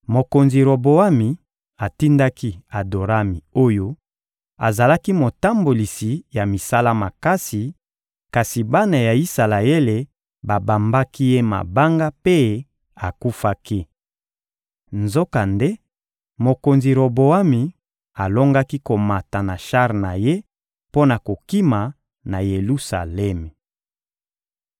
Mokonzi Roboami atindaki Adorami oyo azalaki motambolisi ya misala makasi, kasi bana ya Isalaele babambaki ye mabanga mpe akufaki. Nzokande, mokonzi Roboami alongaki komata na shar na ye mpo na kokima na Yelusalemi.